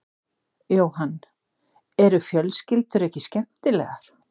Jóhann: Eru fjölskyldur ekki skemmtilegar?